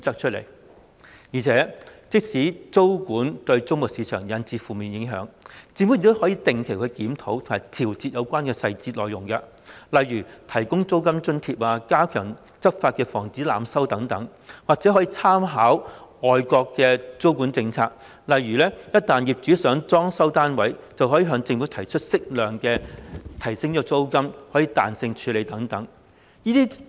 此外，即使租務管制會對租務市場產生負面影響，政府亦可定期檢討及調整有關的細節內容，例如提供租金津貼、加強執法以防濫收等，或可參考外國的租務管制政策，例如業主若想裝修單位，可向政府提出適度增加租金、可彈性處理等。